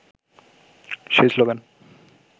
সেই শ্লোগান